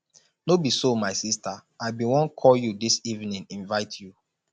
no be so my sister i bin wan call you dis evening invite you